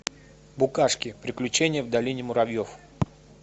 букашки приключения в долине муравьев